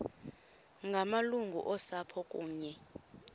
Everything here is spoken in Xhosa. ngamalungu osapho kunye